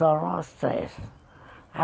Só nós três.